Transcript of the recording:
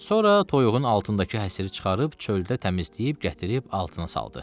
Sonra toyuğun altındakı həsiri çıxarıb çöldə təmizləyib gətirib altına saldı.